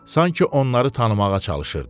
Sanki onları tanımağa çalışırdı.